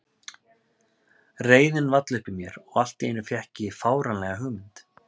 Reiðin vall upp í mér og allt í einu fékk ég fáránlega hugmynd.